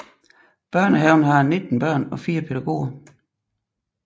Børnehaven har 19 børn og 4 pædagoger